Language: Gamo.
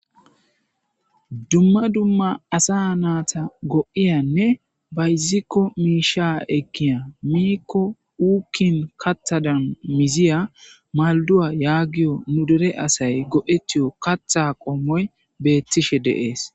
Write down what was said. Dumma dumma asa naata go7iyanne bayzikko miisha ekkiya miikko wuukin kathadan miziya malduwa yaagiyo nu dere asay go7etiyo katha qommoy beettides deees